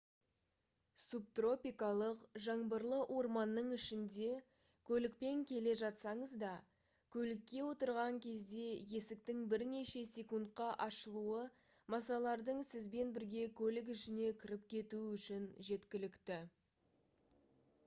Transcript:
субтропикалық жаңбырлы орманның ішінде көлікпен келе жатсаңыз да көлікке отырған кезде есіктің бірнеше секундқа ашылуы масалардың сізбен бірге көлік ішіне кіріп кетуі үшін жеткілікті